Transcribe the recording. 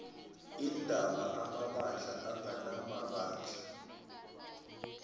iindaba amabandla anganamandla